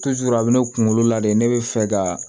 a bɛ ne kunkolo la de ne bɛ fɛ ka